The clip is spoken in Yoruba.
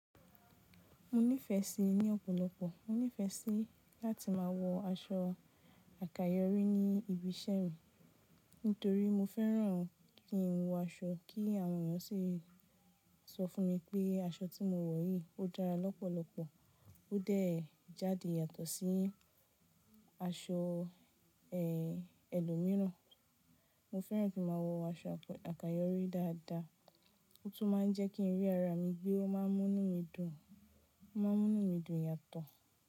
Mo nífẹẹ síi ní ọ̀pọ̀lọpọ̀, mo nífẹẹ síí láti máa wọ aṣọ àkayọrí ní ibi iṣẹ́ mi nítorí mo fẹ́ràn kí n wọ aṣọ, kí àwọn èèyàn sì sọ fún mi pé aṣọ tí mo wọ̀ yìí ó dára lọ́pọ̀lọpọ̀, ó dẹ̀ jáde yàtọ̀ sí aṣọ ẹlòmíràn. Mo fẹ́ràn kí n má a wọ aṣọ àkayọrí dáadáa, ó tún máa ń jẹ́ kí n rí ara mi gbé ó máa ń mú mí dùn, ó máa ń mú mí dùn yàtọ̀.